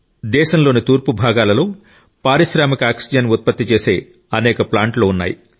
దేశంలోని తూర్పు భాగాలలో పారిశ్రామిక ఆక్సిజన్ ఉత్పత్తి చేసే అనేక ప్లాంట్స్ ఉన్నాయి